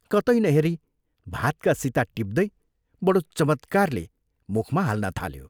कतै नहेरी भातका सिता टिप्दै बडो चमत्कारले मुखमा हाल्न थाल्यो।